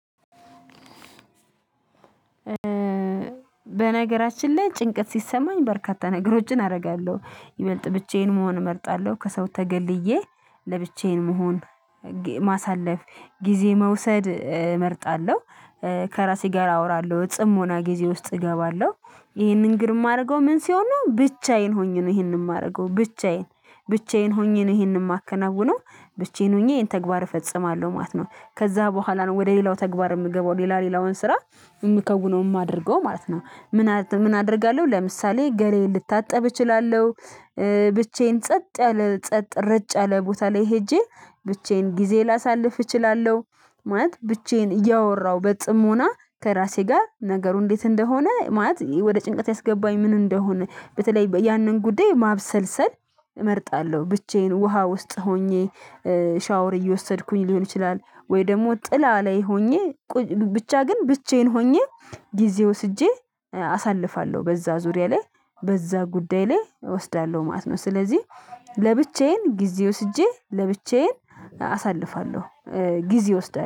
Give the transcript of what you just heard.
በነገራችን ላይ ጭንቀት ሲሰማኝ በርካታ ነገሮችን አደርጋለሁ ይበልጥ ብቻዬን መሆን እመርጣለሁ ከሰው ተገልዬ ለብቻዬን መሆን ማሳለፍ ጊዜ መውሰድ እመርጣለሁ። ከራሴ ጋር አወራለሁ እጽምና ጊዜ ውስጥ እገባለሁ። ይሄንን ግርም የማደርገው ምን ሲሆን ነው ብቻዬን ሆኜ ነው ይሄንን የማደርገው ብቻዬን ብቻዬን ሆኜ ነው ይሄንን የማከናውነው ብቻዬን ሆኜ ይሄን ተግባር እፈጽማለሁ ማለት ነው። ከዛ በኋላ ነው ወደ ሌላው ተግባር የምገባው ሌላ ሌላውን ስራ የምከውነው የማደርገው ማለት ነው። ምን አደርጋለሁ ለምሳሌ ገላዬ ልታጠብ እችላለሁ። ብቻዬን ጸጥ ያለ ጸጥ ረጭ ያለ ቦታ ላይ ሄጄ ብቻዬን ጊዜ ላሳልፍ እችላለሁ። ማለት ብቻዬን እያወራሁ በጽሞና ከራሴ ጋር ነገሩ እንዴት እንደሆነ ማለት ወደ ጭንቀት ያስገባኝ ምን እንደሆነ በተለይ ያንን ጉዳይ ማብሰልሰል። እመርጣለሁ ብቻዬን ውሃ ውስጥ ሆኜ ሻወር እየወሰድኩኝ ሊሆን ይችላል? ወይ ደግሞ ጥላ ላይ ሆኜ ብቻ ግን ብቻዬን ሆኜ ጊዜ ወስጄ አሳልፋለሁ። በዛ ዙሪያ ላይ በዛ ጉዳይ ላይ እወስዳለሁ ማለት ነው። ስለዚህ ለብቻዬን ጊዜ ወስጄ ለብቻዬን አሳልፋለሁ። ጊዜ እወስዳለሁ